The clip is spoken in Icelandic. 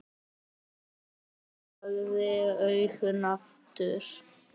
Ég lagði augun aftur.